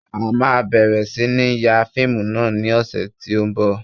A máa bẹ̀rẹ̀ sí ní ń ya fíìmù náà ní ọ̀sẹ̀ tí ó ń bọ̀